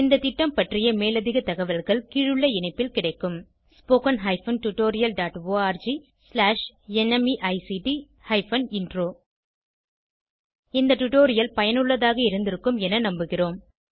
இந்த திட்டம் பற்றிய மேலதிக தகவல்கள் கீழுள்ள இணைப்பில் கிடைக்கும் spoken hyphen tutorial dot org slash NMEICT hyphen intro இந்த டுடோரியல் பயனுள்ளதாக இருந்திருக்கும் என நம்புகிறோம்